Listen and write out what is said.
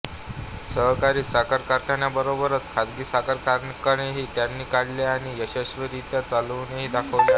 सहकारी साखर कारखान्यांबरोबरच खाजगी साखर कारखानेही त्यांनी काढले आणि यशस्वीरीत्या चालवूनही दाखवले आहेत